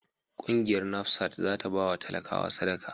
Kungiyar NAFSAT za ta ba talakawa sadaka.